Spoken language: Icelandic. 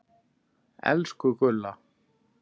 Elsku Gulla.